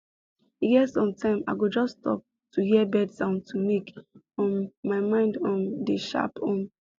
e get sometime i go just stop to hear bird sound to make um my mind um dey sharp um